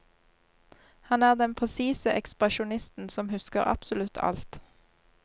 Han er den presise ekspresjonisten som husker absolutt alt.